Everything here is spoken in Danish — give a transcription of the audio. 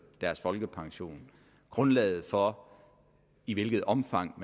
deres folkepension grundlaget for i hvilket omfang